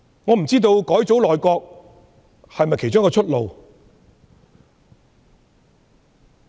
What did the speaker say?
我不知道改組內閣是否其中一條出路。